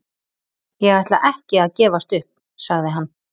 Ég ætla ekki að gefast upp, sagði hann.